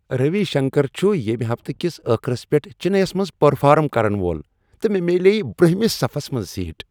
روی شنکر چھ ییٚمہ ہفتہٕ کس ٲخرس پیٹھ چنے یس منز پرفارم کرن وول تہٕ مےٚ میلییہ برونہمس صفس منز سیٹ۔